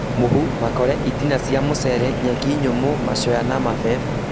mũhu, makore, itina cia mũcere, nyeki nyũmũ, macoya na mabebe